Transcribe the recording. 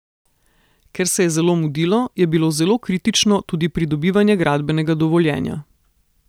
Ker se je zelo mudilo, je bilo zelo kritično tudi pridobivanje gradbenega dovoljenja.